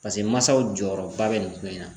Paseke mansaw jɔyɔrɔba bɛ nin ko in na